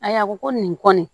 Aya ko ko nin kɔni